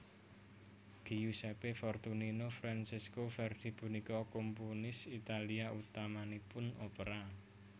Giuseppe Fortunino Francesco Verdi punika komponis Italia utamanipun opera